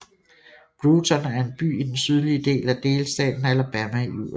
Brewton er en by i den sydlige del af delstaten Alabama i USA